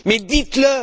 Mais dites le!